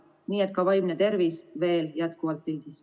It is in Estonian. Nii et ka vaimne tervis on meil jätkuvalt pildil.